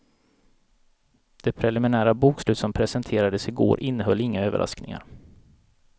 Det preliminära bokslut som presenterades i går innehöll inga överraskningar.